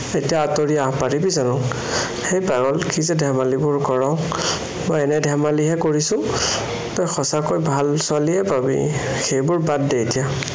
এতিয়া আঁতৰি আহিব পাৰিবি জানো? হেই পাগল, কি যে ধেমালিবোৰ কৰ, মই এনেই ধেমালিহে কৰিছো। তই সঁচাকৈয়ে ভাল ছোৱালীয়ে পাবি। সেইবোৰ বাদ দে এতিয়া